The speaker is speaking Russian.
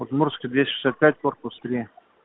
удмуртская двести шестьдесят пять корпус три